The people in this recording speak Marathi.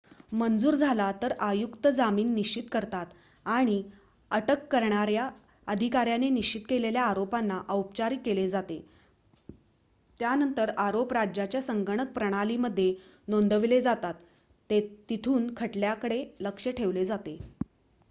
मंजूर झाला तर आयुक्त जामीन निश्चित करतात आणि अटक करणाऱ्या अधिकाऱ्याने निश्चित केलेल्या आरोपांना औपचारीक केले जाते त्यानंतर आरोप राज्याच्या संगणक प्रणालीमध्ये नोंदवले जातात तिथून खटल्याकडे लक्ष ठेवले जाते